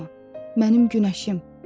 Ağlama, mənim günəşim.